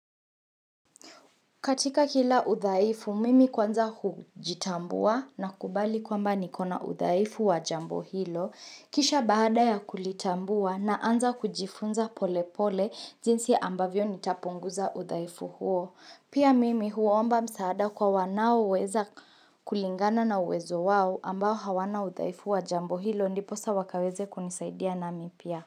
Katika kila udhaifu, mimi kwanza hujitambua na kubali kwamba nikona udhaifu wa jambo hilo. Kisha baada ya kulitambua naanza kujifunza pole pole jinsi ambavyo nitapunguza udhaifu huo. Pia mimi huomba msaada kwa wanaoweza kulingana na uwezo wao ambao hawana udhaifu wa jambo hilo ndiposa wakaweze kunisaidia nami pia.